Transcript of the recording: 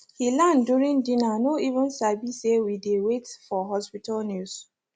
he land during dinner no even sabi say we dey wait for hospital news